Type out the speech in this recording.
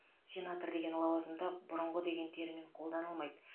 сенатор деген лауазымда бұрынғы деген термин қолданылмайды